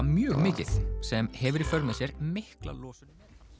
mjög mikið sem hefur í för með sér mikla losun